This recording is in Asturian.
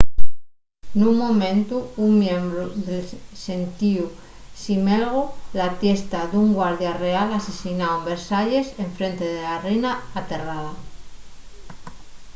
nun momentu un miembru del xentíu ximelgó la tiesta d’un guardia real asesináu en versalles enfrente de la reina aterrada